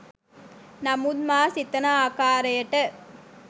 නමුත් මා සිතන ආකාරයට